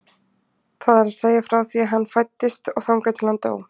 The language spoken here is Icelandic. Það er að segja frá því að hann fæddist og þangað til að hann dó.